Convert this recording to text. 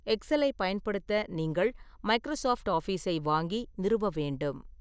எக்ஸலைப் பயன்படுத்த நீங்கள் மைக்ரோசாஃப்ட் ஆஃபிஸை வாங்கி நிறுவ வேண்டும்.